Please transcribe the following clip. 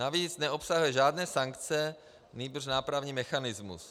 Navíc neobsahuje žádné sankce, nýbrž nápravný mechanismus.